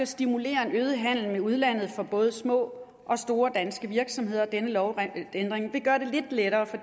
stimulere en øget handel med udlandet for både små og store danske virksomheder og denne lovændring vil gøre det lidt lettere for